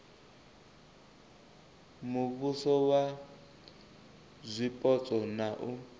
muvhuso wa zwipotso na u